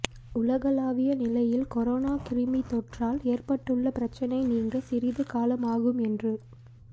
உலகளாவிய நிலையில் கொரோனா கிருமித்தொற்றால் ஏற்பட்டுள்ள பிரச்சினை நீங்க சிறிது காலம் ஆகும் என்று